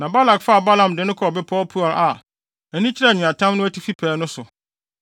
Na Balak faa Balaam de no kɔɔ bepɔw Peor a ani kyerɛ nweatam no atifi pɛɛ no so.